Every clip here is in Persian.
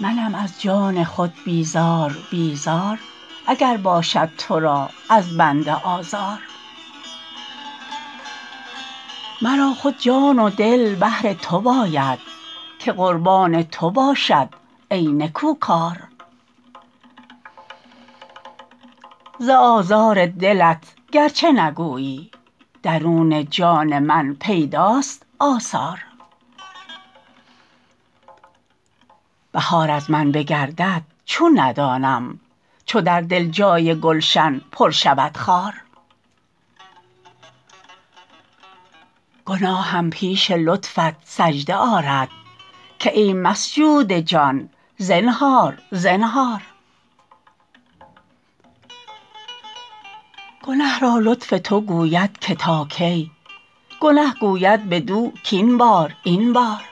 منم از جان خود بیزار بیزار اگر باشد تو را از بنده آزار مرا خود جان و دل بهر تو باید که قربان تو باشد ای نکوکار ز آزار دلت گرچه نگویی درون جان من پیداست آثار بهار از من بگردد چون ندانم چو در دل جای گلشن پر شود خار گناهم پیش لطفت سجده آرد که ای مسجود جان زنهار زنهار گنه را لطف تو گوید که تا کی گنه گوید بدو کاین بار این بار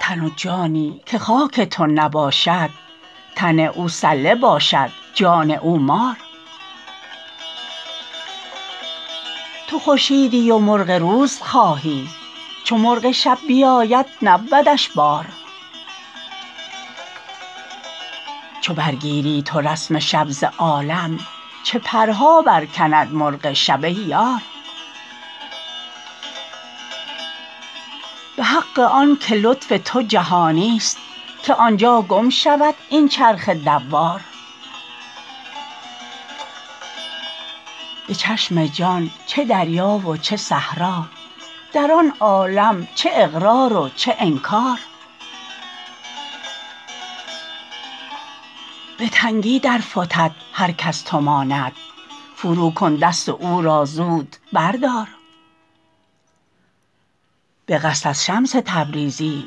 تن و جانی که خاک تو نباشد تن او سله باشد جان او مار تو خورشیدی و مرغ روز خواهی چو مرغ شب بیاید نبودش بار چو برگیری تو رسم شب ز عالم چه پرها برکند مرغ شب ای یار به حق آن که لطف تو جهانست که آن جا گم شود این چرخ دوار به چشم جان چه دریا و چه صحرا در آن عالم چه اقرار و چه انکار به تنگی درفتد هرک از تو ماند فروکن دست و او را زود بردار به قصد از شمس تبریزی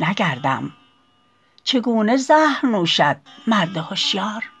نگردم چگونه زهر نوشد مرد هشیار